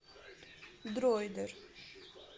дроидер